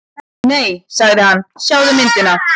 Nei sagði hann, sjáðu myndina.